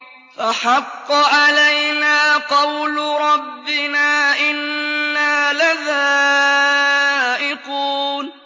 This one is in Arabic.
فَحَقَّ عَلَيْنَا قَوْلُ رَبِّنَا ۖ إِنَّا لَذَائِقُونَ